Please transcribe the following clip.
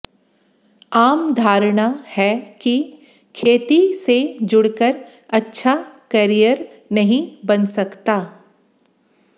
आम धारणा है कि खेती से जुडक़र अच्छा कॅरियर नहीं बन सकता